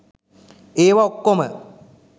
ඒවා ඔක්කොම